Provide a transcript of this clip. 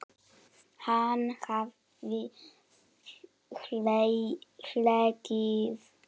Hann hafði hlegið.